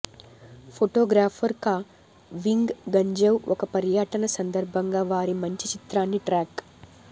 photographer కా వింగ్ గంజౌ ఒక పర్యటన సందర్భంగా వారి మంచి చిత్రాన్ని ట్రాక్